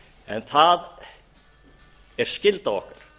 en það er skylda okkar